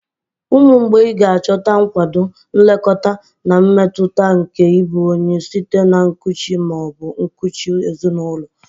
Ụmụ mgbei ga-achọta nkwado, nlekọta, na mmetụta nke ịbụ onye site na nkuchi ma ọ bụ nkuchi ezinụlọ.